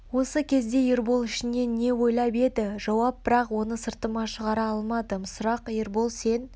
осы кезде ербол ішінен не ойлап еді жауап бірақ оны сыртыма шығара алмадым сұрақ ербол сен